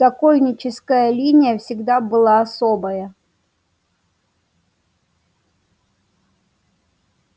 сокольническая линия всегда была особая